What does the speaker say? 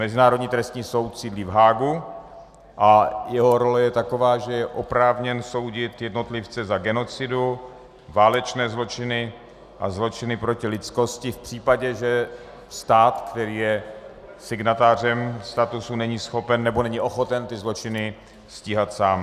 Mezinárodní trestní soud sídlí v Haagu a jeho role je taková, že je oprávněn soudit jednotlivce za genocidu, válečné zločiny a zločiny proti lidskosti v případě, že stát, který je signatářem statusu, není schopen nebo není ochoten ty zločiny stíhat sám.